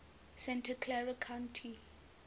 santa clara county